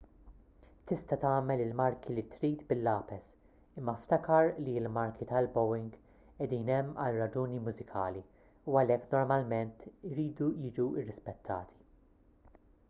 tista' tagħmel il-marki li trid bil-lapes imma ftakar li l-marki tal-bowing qiegħdin hemm għal raġuni mużikali u għalhekk normalment iridu jiġu rispettati